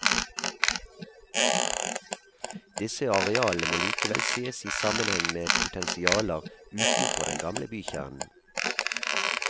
Disse arealene må likevel sees i sammenheng med potensialer utenfor den gamle bykjernen.